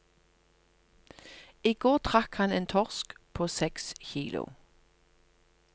I går trakk han en torsk på seks kilo.